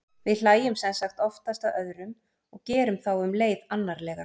við hlæjum sem sagt oftast að öðrum og gerum þá um leið annarlega